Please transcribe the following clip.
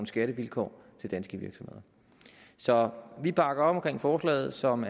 skattevilkår til danske virksomheder så vi bakker op omkring forslaget som